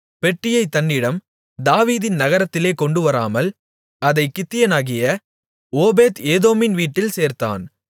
பெட்டியைத் தன்னிடம் தாவீதின் நகரத்திலே கொண்டுவராமல் அதைக் கித்தியனாகிய ஓபேத் ஏதோமின் வீட்டில் சேர்த்தான்